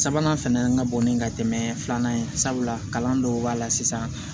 Sabanan fɛnɛ ka bon ni ka tɛmɛ filanan ye sabula kalan dɔw b'a la sisan